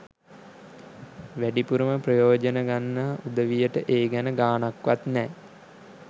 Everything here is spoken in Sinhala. වැඩිපුරම ප්‍රයෝජන ගන්නා උදවියට ඒ ගැන ගාණක්වත් නෑ.